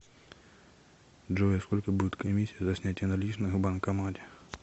джой а сколько будет комиссия за снятие наличных в банкомате